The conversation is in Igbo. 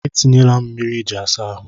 E tinyela m mmiri iji asa ahụ.